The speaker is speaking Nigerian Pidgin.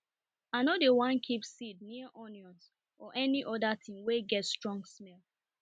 i nor dey wan keep seed near onions or any other thing wey get strong smell